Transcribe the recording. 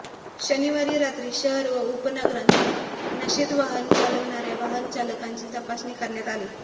शनिवारी रात्री शहर व उपनगरांत नशेत वाहन चालविणाऱया वाहनचालकांची तपासणी करण्यात आली